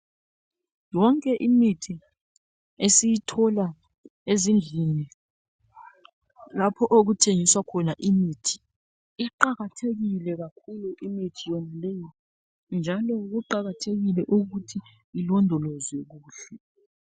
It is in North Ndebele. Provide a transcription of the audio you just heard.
Yonke imithi esiyithola ezindlini lapho okuthengiswa khona imithi. Iqakathekile kakhulu imithi yonaleyi njalo kuqakathekile ukuthi ilondolozwe kuhle.